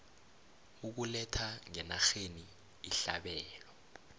ukuletha ngenarheni ihlabelo